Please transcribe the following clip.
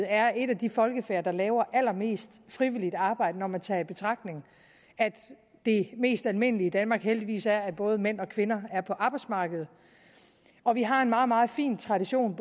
er et af de folkefærd der laver allermest frivilligt arbejde når man tager i betragtning at det mest almindelige i danmark heldigvis er at både mænd og kvinder er på arbejdsmarkedet og vi har en meget meget fin tradition